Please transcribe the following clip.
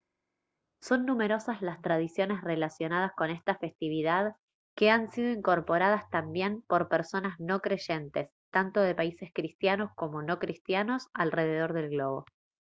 son numerosas las tradiciones relacionadas con esta festividad que han sido incorporadas también por personas no creyentes tanto de países cristianos como no cristianos alrededor del globo